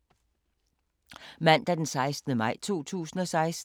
Mandag d. 16. maj 2016